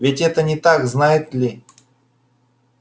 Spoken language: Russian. ведь это не так знает ли